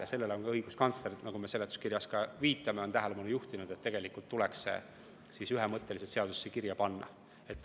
Ja sellele on ka õiguskantsler, nagu me seletuskirjas viitame, tähelepanu juhtinud, et tegelikult tuleks see ühemõtteliselt seadusesse kirja panna.